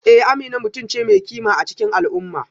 Eh Amina mutum ce mai kima a cikin al'umma